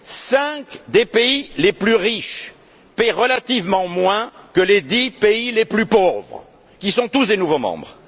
Cinq des pays les plus riches paient relativement moins que les dix pays les plus pauvres, qui sont tous des nouveaux membres.